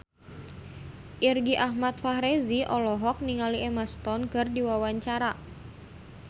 Irgi Ahmad Fahrezi olohok ningali Emma Stone keur diwawancara